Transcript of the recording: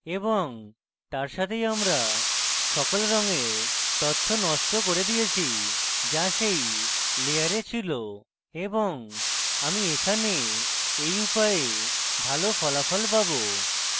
এবং তার সাথেই আমি সকল রঙের তথ্য নষ্ট করে দিয়েছি যা সেই layer ছিল এবং আমি এখানে এই উপায়ে ভালো ফলাফল পাবো